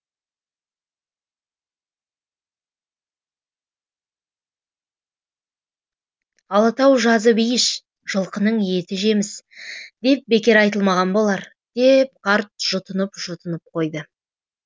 алатау жазы бейіш жылқының еті жеміс деп бекер айтылмаған болар деп қарт жұтынып жұтынып қойды